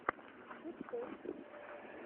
пучков